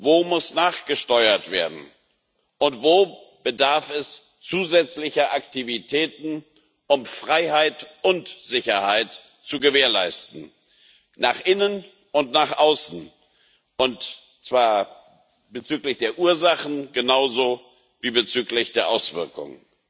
Wo muss nachgesteuert werden und wo bedarf es zusätzlicher Aktivitäten, um Freiheit und Sicherheit nach innen und nach außen zu gewährleisten, und zwar bezüglich der Ursachen genauso wie bezüglich der Auswirkungen?